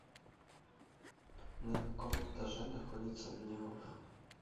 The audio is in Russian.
на каком этаже находится мини гольф